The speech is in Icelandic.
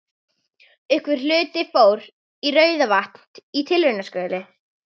Einhver hluti fór í Rauðavatn í tilraunaskyni.